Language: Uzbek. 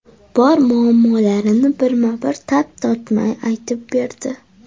Bor muammolarini birma-bir tap tortmay aytib berdi!